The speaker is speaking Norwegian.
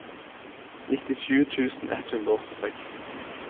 nittisju tusen ett hundre og åttiseks